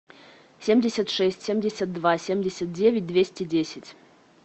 семьдесят шесть семьдесят два семьдесят девять двести десять